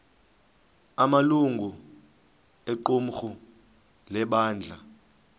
amalungu equmrhu lebandla